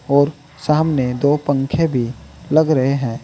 और सामने दो पंखे भी लग रहे हैं।